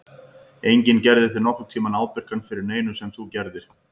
Enginn gerði þig nokkurn tímann ábyrgan fyrir neinu sem þú gerðir.